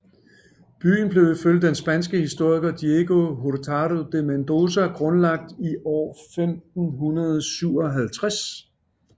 Byen blev ifølge den spanske historiker Diego Hurtado de Mendoza grundlagt i år 1557